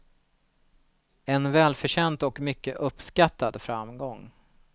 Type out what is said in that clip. En välförtjänt och mycket uppskattad framgång.